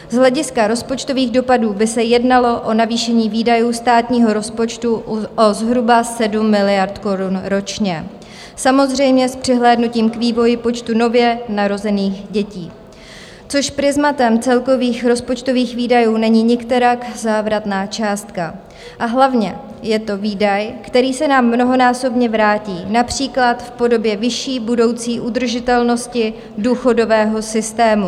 Z hlediska rozpočtových dopadů by se jednalo o navýšení výdajů státního rozpočtu o zhruba 7 miliard korun ročně, samozřejmě s přihlédnutím k vývoji počtu nově narozených dětí, což prizmatem celkových rozpočtových výdajů není nikterak závratná částka, a hlavně je to výdaj, který se nám mnohonásobně vrátí, například v podobě vyšší budoucí udržitelnosti důchodového systému.